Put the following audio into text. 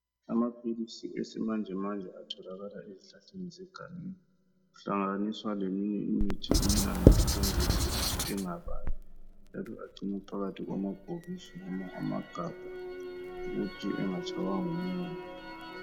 Amapilisi esimanjemanje atholakala ezihlahleni zegangeni. Kuhlanganiswa leminye imithi emnandi ukwenzela ukuthi engababi njalo agcinwa phakathi kwamabhokisi noma amagabha ukuthi engatshaywa ngumoya.